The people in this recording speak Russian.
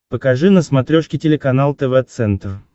покажи на смотрешке телеканал тв центр